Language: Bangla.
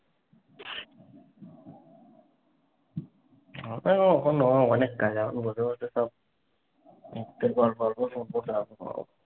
না, এখনো অনেক কাজ। করতে করতে তো একটু পর গল্প শুনবো তারপর ঘুমাবো।